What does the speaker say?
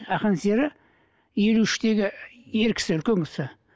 ақан сері елу үштегі ер кісі үлкен кісі